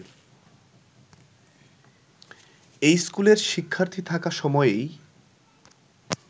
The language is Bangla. এই স্কুলের শিক্ষার্থী থাকা সময়েই